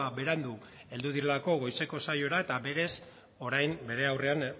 berandu heldu direlako goizeko saiora eta berez orain bere aurrean